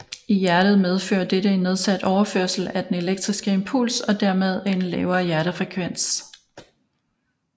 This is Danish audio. I hjertet medfører dette en nedsat overførsel af den elektriske impuls og dermed en lavere hjertefrekvens